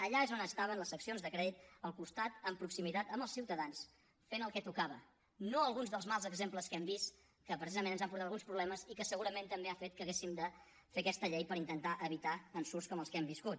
allà és on estaven les seccions de crèdit al costat amb proximitat als ciutadans fent el que tocava no alguns dels mals exemples que hem vist que precisament ens han portat alguns problemes i que segurament també han fet que haguéssim de fer aquesta llei per intentar evitar ensurts com els que hem viscut